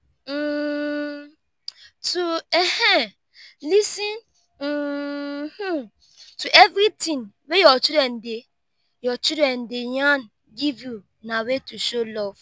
um to um lis ten um to everything way your children de your children de yarn give you na way to show love